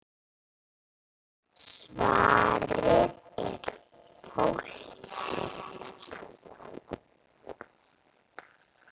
Svarið er: Fólkið.